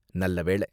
நல்ல வேள.